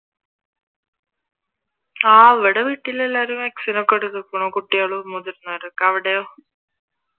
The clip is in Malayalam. ആഹ് ഇവിടെ വീട്ടിൽ എല്ലാവരും vaccine ഒക്കെ എടുത്തിക്കുണു കുട്ടികളും, മുതിർന്നവരുമൊക്കെ അവിടെയോ?